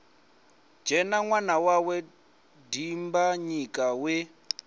dzhena ṅwana wawe dimbanyika we